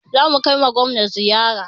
Za mu kai ma Gwamna ziyara.